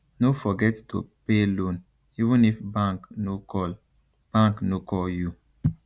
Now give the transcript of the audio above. no forget to pay loan even if bank no call bank no call you